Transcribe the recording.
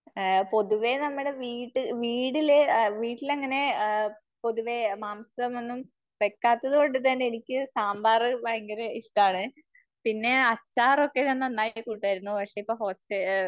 പൊതുവെ നമ്മുടെ വീട് വീട്ടില്, വീട്ടിലങ്ങനെ അ പൊതുവെ മാംസമൊന്നും വെക്കാത്തതുകൊണ്ടു തന്നെ എനിക്ക് സാമ്പാർ ഭയങ്കര ഇഷ്ടാണ്. പിന്നെ അച്ചാറൊക്കെ ഞാൻ നന്നായി കൂട്ടുമായിരുന്നു. പക്ഷേ ഇപ്പോ ഹോസ്റ്റ